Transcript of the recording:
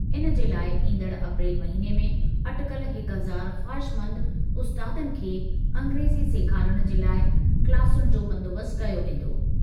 इन जे लाइ ईंदड़ अप्रैल महिने में अटिकल हिक हज़ार ख़्वाहिशमंद उस्तादनि खे अंग्रेज़ी सेखारणु जे लाइ क्लासुनि जो बंदोबस्त कयो वेंदो।